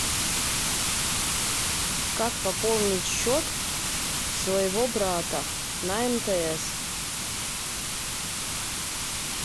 как пополнить счет своего брата на мтс